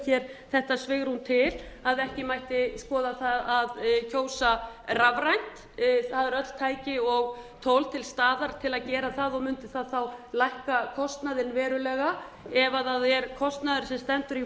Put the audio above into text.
hér þetta svigrúm til að ekki mætti skoða það að kjósa rafrænt það eru öll tæki og tól til staðar til að gera það og mundi það þá lækka kostnaðinn verulega ef það er kostnaðurinn sem stendur í